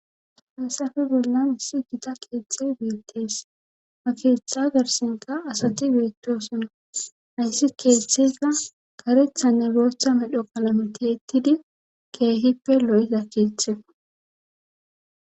Payssafe bollan issi gita keexey beettees makeetha garsenka asati beetiosina hayssi keettheza karethanne beecha medho qalametettidi keehippe lo'iza keetthea.